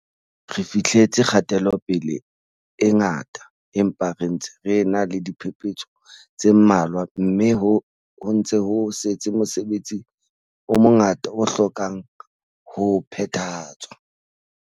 Re fihleletse kgatelope-le e ngata, empa re ntse re ena le diphepetso tse mmalwa mme ho ntse ho setse mosebetsi o mongata o hlokang ho phethahatswa.